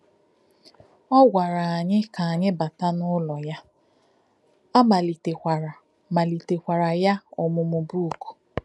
Ọ gwara anyị ka anyị bátà n’ụlọ ya, a malitekwara malitekwara ya ọmụmụ bú̀kù.